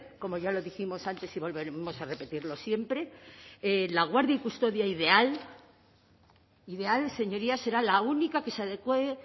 como ya lo dijimos antes y volveremos a repetirlo siempre la guardia y custodia ideal ideal señorías será la única que se adecúe